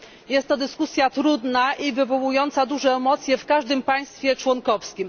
Jest to dyskusja trudna i wywołująca duże emocje w każdym państwie członkowskim.